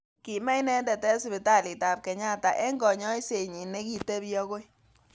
Kime inendet eng sipitalit ab Kenyatta eng kanyoiset nyi nekitebi akoi.